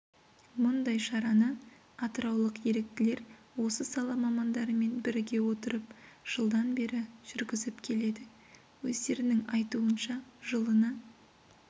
мұндай шараны атыраулық еріктілер осы сала мамандарымен біріге отырып жылдан бері жүргізіп келеді өздерінің айтуынша жылына